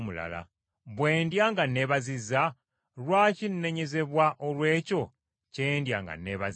Bwe ndya nga neebazizza, lwaki nnenyezebwa olw’ekyo kye ndya nga neebazizza?